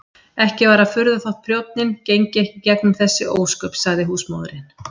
Ekki var að furða þótt prjónninn gengi ekki í gegnum þessi ósköp, sagði húsmóðirin.